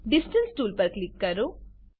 distance tool પર click કરો